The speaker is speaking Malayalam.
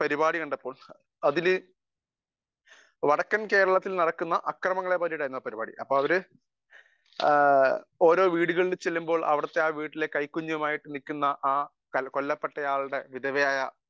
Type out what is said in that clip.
സ്പീക്കർ 1 പരിപാടി കണ്ടപ്പോൾ അതില് വടക്കൻ കേരളത്തിൽ നടക്കുന്ന അക്രമങ്ങളെ പറ്റിയായിരുന്നു ആ പരിപാടി . ഓരോ വീടുകളിൽ ചെല്ലുമ്പോൾ ആ വീടുകളിൽ കൈക്കുഞ്ഞുമായി നിൽക്കുന്ന ആ കൊല്ലപ്പെട്ട ആളുടെ വിധവ ആയ